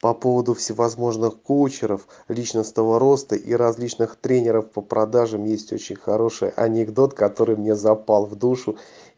по поводу всевозможных коучеров личностного роста и различных тренеров по продажам есть очень хороший анекдот который мне запал в душу